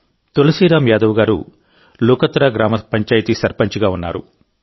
తులసీరామ్ యాదవ్ గారు లుకత్రా గ్రామ పంచాయతీ సర్పంచిగా ఉన్నారు